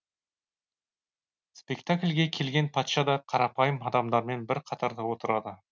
спектакльге келген патша да қарапайым адамдармен бір қатарда отырады